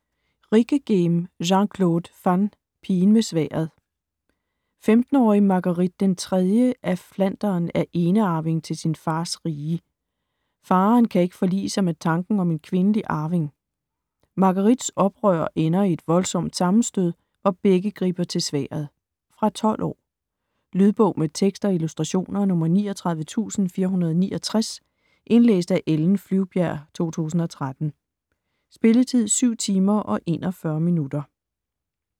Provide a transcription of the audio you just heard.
Rijckeghem, Jean-Claude van: Pigen med sværdet 15-årige Marguerite den III af Flandern er enearving til sin fars rige. Faderen kan ikke forlige sig med tanken om en kvindelig arving. Marguerites oprør ender i et voldsomt sammenstød, hvor begge griber til sværdet. Fra 12 år. Lydbog med tekst og illustrationer 39469 Indlæst af Ellen Flyvbjerg, 2013. Spilletid: 7 timer, 41 minutter.